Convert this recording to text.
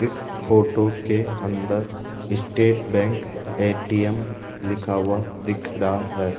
इस फोटो के अंदर स्टेट बैंक ए_टी_एम लिखा हुआ दिख रहा है।